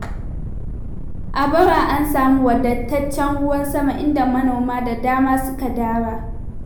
A bara an samu wadataccen ruwan sama, inda manoma da dama suka dara.